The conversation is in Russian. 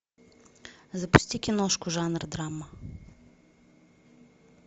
запусти киношку жанр драма